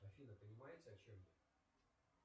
афина понимаете о чем я